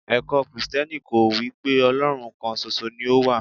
ẹkọ Kristẹni kọ́ wípé Olorun kan ṣoṣo ni o wa